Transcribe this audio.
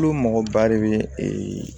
Olu mɔgɔ ba de bɛ